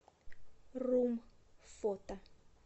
рум фото